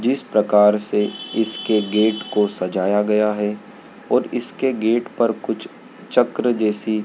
जिस प्रकार से इसके गेट को सजाया गया है और इसके गेट पर कुछ चक्र जैसी--